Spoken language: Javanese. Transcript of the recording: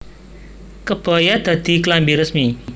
Kebaya dadi klambi resmi